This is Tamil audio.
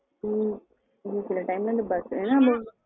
உம் சில time function ன்ன போதும்